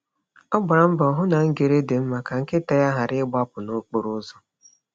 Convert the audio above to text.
Ọ gbara mbọ hụ na ngere dị mma ka nkịta ya ghara ịgbapụ n’okporo ụzọ.